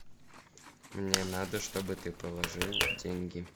мне надо чтобы ты положил деньги